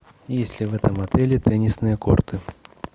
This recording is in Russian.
есть ли в этом отеле теннисные корты